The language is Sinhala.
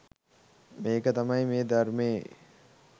මේක තමයි මේ ධර්මයේ